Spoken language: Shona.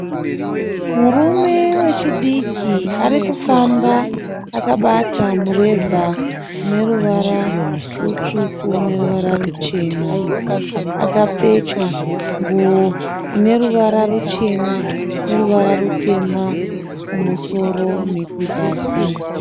Murume wechidiki arikufamba akabata mureza uneruvara rutsvuku neruvara ruchena. Akapfeka nguwo ineruvara ruchena neruvara rutema kumusoro nekuzasi.